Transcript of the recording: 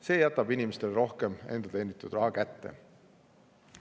See jätab inimestele rohkem enda teenitud raha kätte.